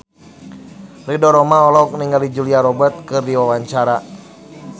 Ridho Roma olohok ningali Julia Robert keur diwawancara